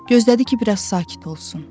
Gözlədi ki, biraz sakit olsun.